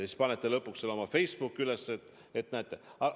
Ja siis panete lõpuks selle oma Facebooki üles, et näete, kuidas.